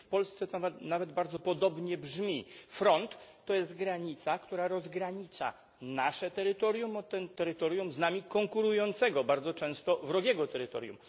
W Polsce nazwa ta nawet bardzo podobnie brzmi front to jest granica, która rozgranicza nasze terytorium od terytorium z nami konkurującego, bardzo często wrogiego terytorium.